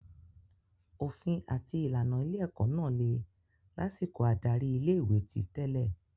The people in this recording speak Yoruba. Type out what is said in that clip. Òfin àti ìlànà ilé-ẹ̀kọ́ náà le lásìkò adarí ilé-ìwé ti tẹ́lẹ̀.